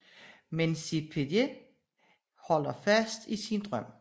Men Sepideh holder fast i sin drøm